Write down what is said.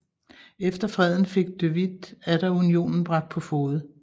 Efter freden fik de Witt atter unionen bragt på fode